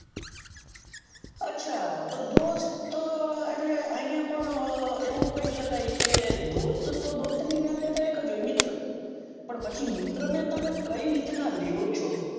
અચ્છા તો દોસ્ત એટલે અહિયાં પણ એવું કહી સકાય કે દોસ્ત તો દોસ્ત ની વ્યાખ્યા તો એક જ હોય કે મિત્ર પણ પછી મિત્ર ને તમે કઈ રીત નાં લ્યો છો.